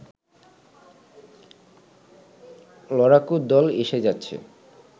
লড়াকু দল এসে যাচ্ছে